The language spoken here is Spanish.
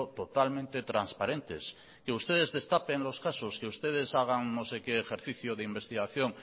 totalmente transparentes que ustedes destapen los casos que ustedes hagan no sé qué ejercicio de investigación